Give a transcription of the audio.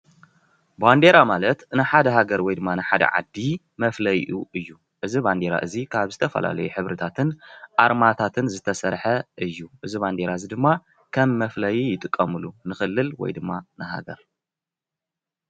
ባንዴራ ማለት ንሓደ ሃገር ወይ ድማ ንሓደ ዓዲ መፍለይኡ እዩ፡፡ እዚ ባንዴራ እዚ ካብ ዝተፈላለዩ ሕብርታትን ኣርማታትን ዝተሰረሐ እዩ፡፡ እዚ ባንዴራ እዚ ድማ ከም መፍለዩ ይጥቀምሉ፡፡ ንክልል ወይ ድማ ንሃገር።